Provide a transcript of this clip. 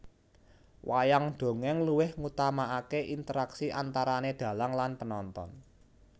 Wayang dongèng luweh ngutamakake interaksi antarane dhalang lan penonton